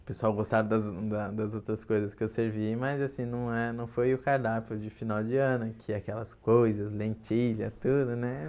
O pessoal gostaram das da das outras coisas que eu servi, mas assim, não é não foi o cardápio de final de ano, que é aquelas coisas, lentilha, tudo, né?